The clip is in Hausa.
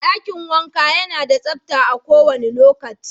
Dakin wanka yana da tsapa a kowanda lokaci.